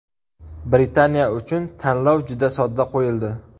Britaniya uchun tanlov juda sodda qo‘yildi.